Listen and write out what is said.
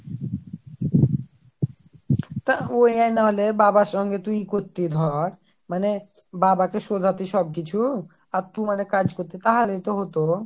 তা ওই এক নাহলে বাবার সঙ্গে তুই করতি ধর মানে বাবাকে সোধাটিস সব কিছু আর তুই মানে কাজ করতিস তাহলেই তো হতো।